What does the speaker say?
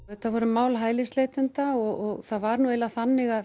þetta voru mál hælisleitenda og það var nú eiginlega þannig